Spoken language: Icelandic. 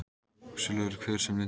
Svo lifir hver sem lyndur er.